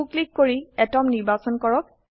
so click কৰি আতম নিৰ্বাচন কৰক